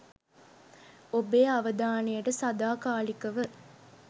ඔබේ අවදානයට සදාකාලිකව